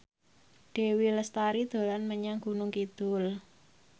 Dewi Lestari dolan menyang Gunung Kidul